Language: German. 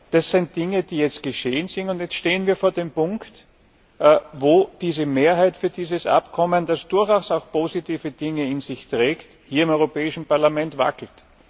Das sind Dinge, die jetzt geschehen sind, und jetzt stehen wir vor dem Punkt, wo diese Mehrheit für dieses Abkommen, das durchaus auch positive Dinge in sich trägt, hier im Europäischen Parlament wackelt.